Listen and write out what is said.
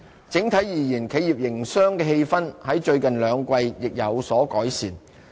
整體而言，企業營商的氣氛在最近兩季亦有所改善。